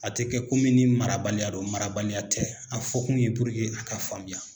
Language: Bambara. A tɛ kɛ komi marabaliya don, marabaliya tɛ, a fɔ kun ye purke a ka faamuya.